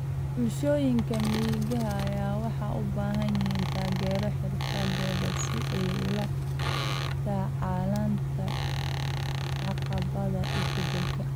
Bulshooyinka miyiga ah waxay u baahan yihiin taageero xirfadeed si ay ula tacaalaan caqabadaha isbeddelka.